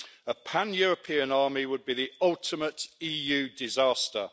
A pan European army would be the ultimate EU disaster.